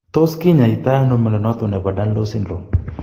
Tos kinyai to ano mnyondo noton nebo Danlos syndrome ?